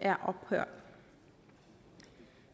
er ophørt